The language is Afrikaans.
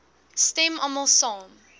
stem almal saam